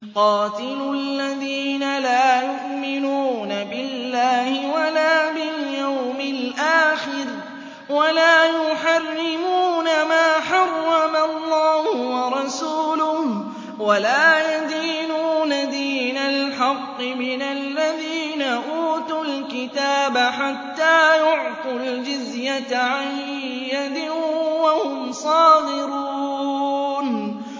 قَاتِلُوا الَّذِينَ لَا يُؤْمِنُونَ بِاللَّهِ وَلَا بِالْيَوْمِ الْآخِرِ وَلَا يُحَرِّمُونَ مَا حَرَّمَ اللَّهُ وَرَسُولُهُ وَلَا يَدِينُونَ دِينَ الْحَقِّ مِنَ الَّذِينَ أُوتُوا الْكِتَابَ حَتَّىٰ يُعْطُوا الْجِزْيَةَ عَن يَدٍ وَهُمْ صَاغِرُونَ